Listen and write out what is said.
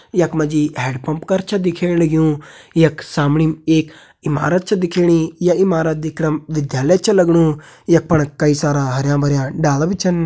यख मा जी हैंड पंप कर छ दिखेण लग्युं यख समणी एक इमारत छ दिखेणी या इमारत दिखणम विद्यालय छ लगणु यख फण कई सारा हरयां भर्यां डाला भी छन।